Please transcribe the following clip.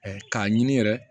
k'a ɲini yɛrɛ